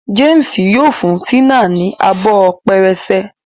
James yíò fún Tina ní Abọ́ pẹrẹsẹ.